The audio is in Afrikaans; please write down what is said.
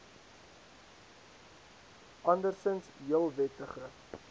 andersinds heel wettige